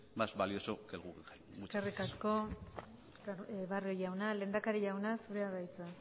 más valioso que el guggenheim muchas gracias eskerrik asko barrio jauna lehendakari jauna zurea da hitza